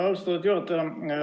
Austatud juhataja!